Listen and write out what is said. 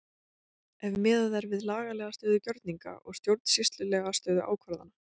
Ef miðað er við lagalega stöðu gjörninga og stjórnsýslulega stöðu ákvarðana?